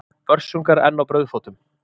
Börsungar enn á brauðfótum.